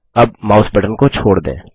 अब mouse button को छोड़ दें